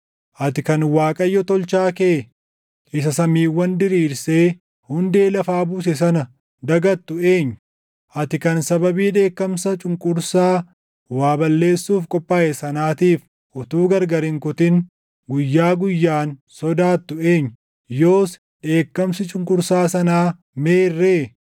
Ati kan Waaqayyo Tolchaa kee, isa samiiwwan diriirsee hundee lafaa buuse sana dagattu eenyu? Ati kan sababii dheekkamsa cunqursaa waa balleessuuf qophaaʼe sanaatiif utuu gargar hin kutin guyyaa guyyaan sodaattu eenyu? Yoos dheekkamsi cunqursaa sanaa meerree?